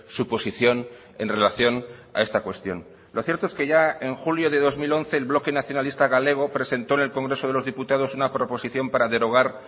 su posición en relación a esta cuestión lo cierto es que ya en julio de dos mil once el bloque nacionalista galego presentó en el congreso de los diputados una proposición para derogar